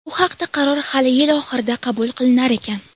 Bu haqda qaror hali yil oxirida qabul qilinar ekan.